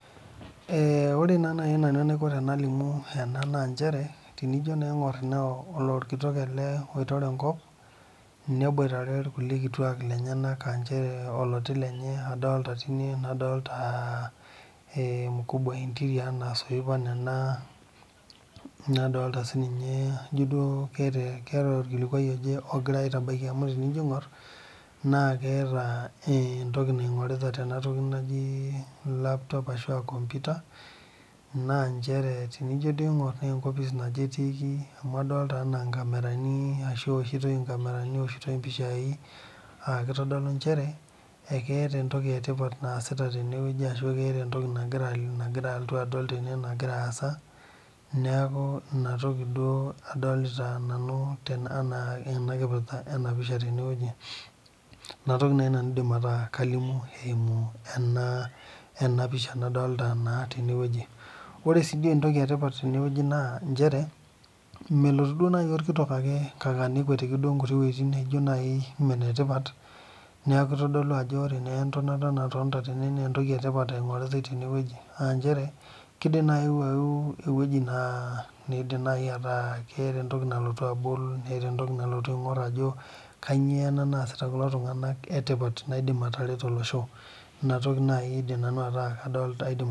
Ore naa naji nanu enaiko pee alimu ena naa njere tenijo naa aing'or orkitok ele kitore enkop neboitare irkulie kituak lenyena aa orkiti lenye adolita tine nadolita emukubua ee interior soipan ena nadolita Ajo keetae orkilikuai oje ogirai aitabaiki amu tenijo duo aing'or naa keeta entoki naingorita Tena toki najii laptop ashu kompita naa njere tenijo aing'or naa enkopis naje etikii amu adolita ena ewoshitoi nkamerani ewoshitoi mpishai aa kitodolu njere keeta entoki etipat naasita tene ashu keeta entoki nagira alotu aitodolu nagira asaa neeku ena toki duo adolita nanu Tena kipirta ena pisha tenewueji enatoki naaji aidim ataa kalimu eyimu ena pisha nadolita tenewueji ore doi sii entoki etipat tenewueji naa njere melotu ake duo orkitok ake nekwetiki ewuejitin naijio Nene naijio naaji mee netipat neeku kitodolu Ajo ore naa entonata natonita tene naa entoki etipat engoritae tene aa njere kidim naaji ayeu ewueji naa ketaa entoki nalotu abol netaa entoki nalotu aing'or Ajo kainyio ena masita kulo tung'ana etipat naidim atareto olosho ena toki naaji adolita aidim ataa kalimu